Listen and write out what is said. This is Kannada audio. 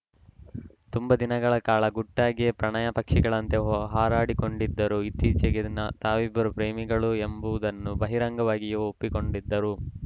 ತುಂಬಾ ದಿನಗಳ ಕಾಲ ಗುಟ್ಟಾಗಿಯೇ ಪ್ರಣಯ ಪಕ್ಷಿಗಳಂತೆ ಹೊ ಹಾರಾಡಿಕೊಂಡಿದ್ದರು ಇತ್ತೀಚೆಗೆ ತಾವಿಬ್ಬರು ಪ್ರೇಮಿಗಳು ಎಂಬುದನ್ನು ಬಹಿರಂಗವಾಗಿಯೂ ಒಪ್ಪಿಕೊಂಡಿದ್ದರು